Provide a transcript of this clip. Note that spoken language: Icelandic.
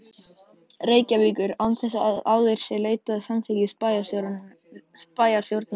Reykjavíkur, án þess að áður sé leitað samþykkis bæjarstjórnarinnar.